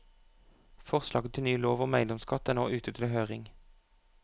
Forslaget til ny lov om eiendomsskatt er nå ute til høring.